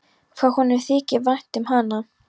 Hvað honum þykir vænt um hana!